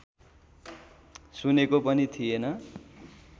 सुनेको पनि थिएन